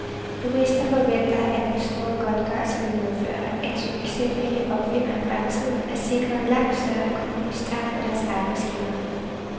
Jurister forventer, at den store godtgørelse vil medføre, at succesrige opfindere i fremtiden er sikret en langt større økonomisk tak fra deres arbejdsgiver.